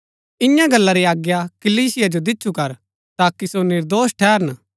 इआं गल्ला री आज्ञा कलीसिया जो दिच्छु कर ताकि सो निर्दोष ठैहरन